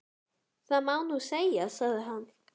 Það má nú segja, sagði hann.